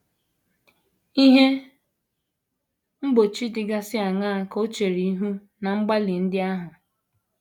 Ihe mgbochi dịgasị aṅaa ka o chere ihu ná mgbalị ndị ahụ?